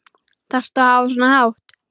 Þarftu að hafa svona hátt?